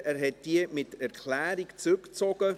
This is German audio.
Er hat diese mit Erklärung zurückgezogen.